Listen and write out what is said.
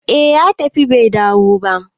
eh ya tafi Bai dawo ba